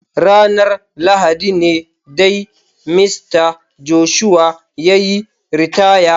Ranar Lahadi ne dai Mista Joshua ya yi ritaya.